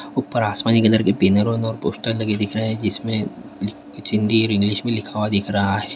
ऊपर आसमानी कलर क बैरन और पोस्टर दिख रहा है जिस में कुछ हिंदी और इंग्लिश में लिखा व दिख रहा है।